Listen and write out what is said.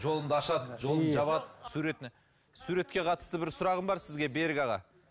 жолымды ашады жолымды жабады суретіне суретке қатысты бір сұрағым бар сізге берік аға